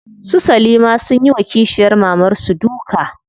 Su salima sunyi wa kishiyar mamar su duka.